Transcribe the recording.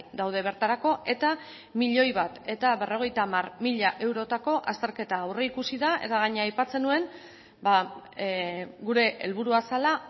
daude bertarako eta milioi bat berrogeita hamar mila eurotako azterketa aurreikusi da eta gainera aipatzen nuen gure helburua zela